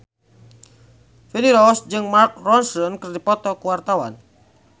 Feni Rose jeung Mark Ronson keur dipoto ku wartawan